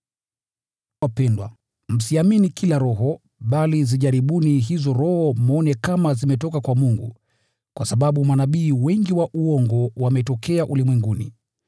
Wapendwa, msiamini kila roho, bali zijaribuni hizo roho mwone kama zimetoka kwa Mungu, kwa sababu manabii wengi wa uongo wametokea ulimwenguni.